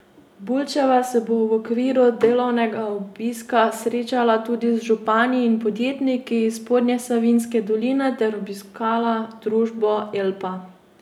Bulčeva se bo v okviru delovnega obiska srečala tudi z župani in podjetniki iz spodnjesavinjske doline ter obiskala družbo Elpa.